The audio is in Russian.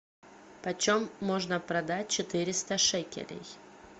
почем можно продать четыреста шекелей